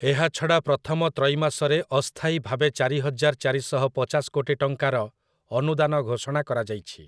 ଏହାଛଡ଼ା ପ୍ରଥମ ତ୍ରୈମାସରେ ଅସ୍ଥାୟୀ ଭାବେ ଚାରିହଜାର ଚାରିଶହ ପଚାଶ କୋଟି ଟଙ୍କାର ଅନୁଦାନ ଘୋଷଣା କରାଯାଇଛି ।